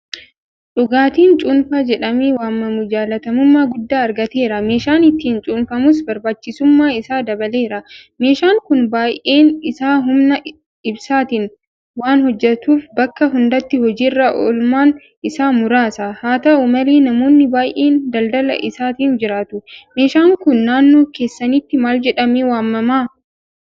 Dhugaatiin Cuunfaa jedhamee waamamu jaalatamummaa guddaa argateera. Meeshaan ittiin cuunfamus barbaachisummaan isaa dabaleera. Meeshaan kun baay'een isaa humna ibsaatiin waanhojjetuuf bakka hundatti hojii irra oolmaan isaa muraasa. Haata'u malee namoonni baay'een daldala isaatiin jiraatu. Meeshaan kun naannoo keessanitti maaljedhamee waamama?